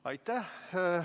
Aitäh!